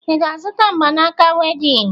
Ị ga-azụta mgbanaaka wedịn?